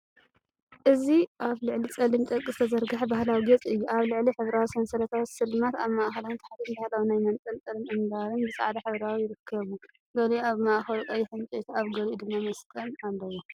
እዚ ኣብ ልዕሊ ጸሊም ጨርቂ ዝተዘርግሐ ባህላዊ ጌጽ እዩ። ኣብ ላዕሊ ሕብራዊ ሰንሰለታዊ ስልማት፣ ኣብ ማእኸልን ታሕትን ባህላዊ ናይ መንጠልጠልን ኣምባርን ብፃዕዳን ሕብራዊን ይርከቡ። ገሊኡ ኣብ ማእከሉ ቀይሕ ዕንጨይቲ ኣብ ገሊኡ ድማ መስቀል ኣለዎ።